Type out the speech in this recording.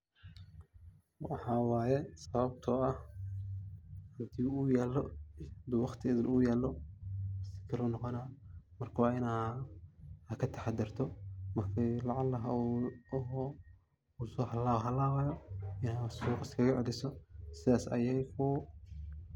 Waxa waye sabato ah hadi waqti idhil u yalo ,uu noqona marka waa inaad aa kataxa darto ,marki uu lacala usoo halaw halawaya inaad suqaa iskaga celiso ,sidhas ayey kugu .